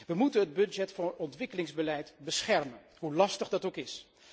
We moeten het budget voor ontwikkelingsbeleid beschermen, hoe lastig dat ook is.